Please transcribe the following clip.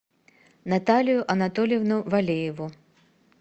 наталию анатольевну валееву